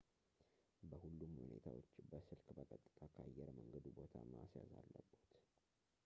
በሁሉም ሁኔታዎች በስልክ በቀጥታ ከአየር መንገዱ ቦታ ማስያዝ አለብዎት